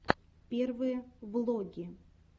первые влоги